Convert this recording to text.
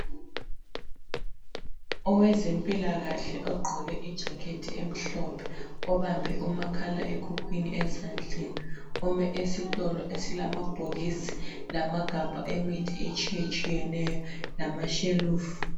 Owezempilakahle ogqoke ijakhethi emhlophe obambe umakhala ekhukhwini ezandleni, ume esitolo esilamabhokisi lamagabha emithi etshiyatshiyeneyo lamashelufu.